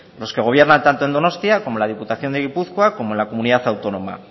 los que gobiernan tanto en donostia como en la diputación de gipuzkoa como en la comunidad autónoma